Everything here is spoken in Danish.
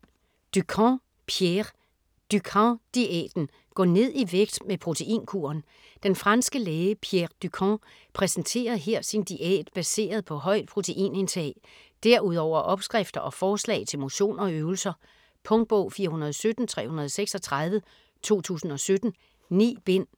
Dukan, Pierre: Dukan diæten: gå ned i vægt med proteinkuren Den franske læge Pierre Dukan præsenterer her sin diæt baseret på højt proteinindtag. Derudover opskrifter og forslag til motion og øvelser. Punktbog 417336 2017. 9 bind.